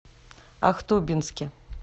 ахтубинске